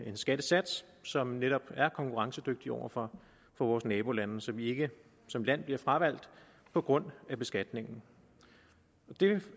en skattesats som netop er konkurrencedygtig over for vores nabolande så vi ikke som land bliver fravalgt på grund af beskatningen og det